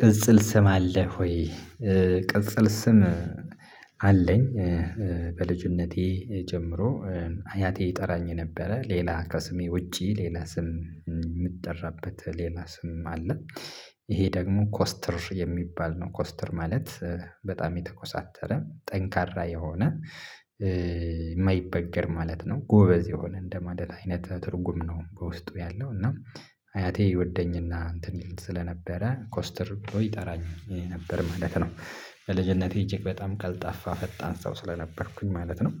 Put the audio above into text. ቅጽል ስም አለህ ወይ? ቅጽል ስም አለኝ። በልጅነቴ ጀምሮ አያቴ ይጠራኝ የነበረ ሌላ ከስሜ ውጪ ሌላ ስም ምጠራበት ሌላ ስም አለ። ይሄ ደግሞ ኮስትር የሚባል ነው። ኮስትር ማለት በጣም የተኮሳተረ ጠንካራ የሆነ የማይበገር ማለት ነው ጎበዝ የሆነ እንደማለት አይነት ትርጉም ነው። በውስጡ ያለው እና አያቴ ይወደኝና እንትን ይል ስለነበረ ኮስትር ብሎ ይጠራኝ ነበር ማለት ነው። ልጀነቴ እጅግ በጣም ቀልጠፋ ፈጣን ሰው ስለነበርኩኝ ማለት ነው።